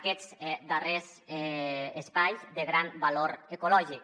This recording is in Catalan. aquests darrers espais de gran valor ecològic